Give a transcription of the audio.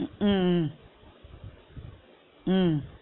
உம் உம் உம் உம்